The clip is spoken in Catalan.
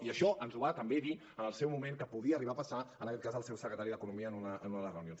i això ens ho va també dir en el seu moment que podia arribar a passar en aquest cas el seu secretari d’economia en una de les reunions